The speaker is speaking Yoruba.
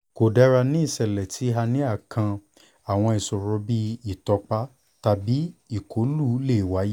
ko dara ni iṣẹlẹ ti hernia kan awọn iṣoro bii itọpa tabi ikọlu le waye